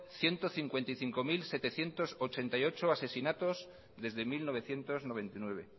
ciento cincuenta y cinco mil setecientos ochenta y ocho asesinatos desde mil novecientos noventa y nueve